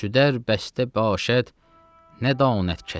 Şüdər bəstə başad, nə danəd kəçi.